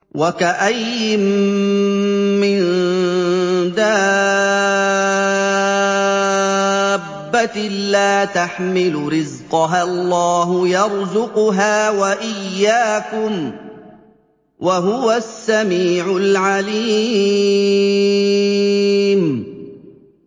وَكَأَيِّن مِّن دَابَّةٍ لَّا تَحْمِلُ رِزْقَهَا اللَّهُ يَرْزُقُهَا وَإِيَّاكُمْ ۚ وَهُوَ السَّمِيعُ الْعَلِيمُ